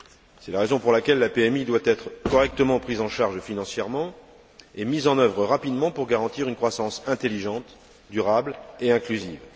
C'est la raison pour laquelle la PMI doit être correctement prise en charge financièrement et mise en œuvre rapidement pour garantir une croissance intelligente, durable et inclusive.